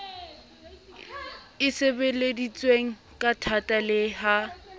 e sebeleditsweng kathata le ha